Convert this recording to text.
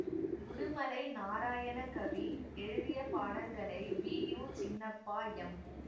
உடுமலை நாராயணகவி எழுதிய பாடல்களை P U Chinnappa M